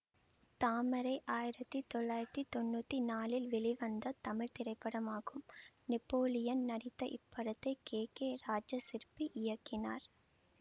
தாமரை ஆயிரத்தி தொள்ளாயிரத்தி தொன்னூத்தி நாலில் வெளிவந்த தமிழ் திரைப்படமாகும் நெப்போலியன் நடித்த இப்படத்தை கே கே ராஜாசிற்பி இயக்கினார்